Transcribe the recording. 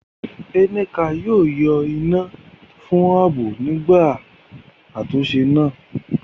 Nneka yóò yọ iná fún ààbò nígbà àtúnṣe náà.